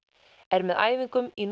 er með æfingum í